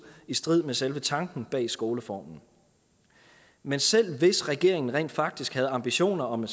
i strid med selve tanken bag skoleformen men selv hvis regeringen rent faktisk havde ambitioner om